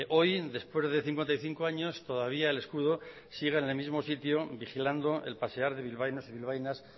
hoy después de cincuenta y cinco años todavía el escudo sigue en el mismo sitio vigilando el pasear de bilbaínos y bilbaínas